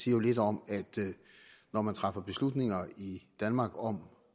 jo lidt om at når man træffer beslutninger i danmark om